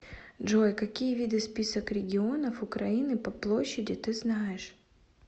джой какие виды список регионов украины по площади ты знаешь